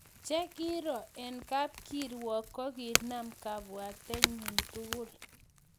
Che kiiro eng kapkirwok kokinam kabwatenyi tugul